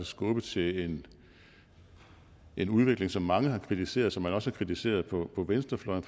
skubbe til en en udvikling som mange har kritiseret og som man også har kritiseret på venstrefløjen